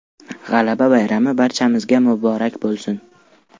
G‘alaba bayrami barchamizga muborak bo‘lsin!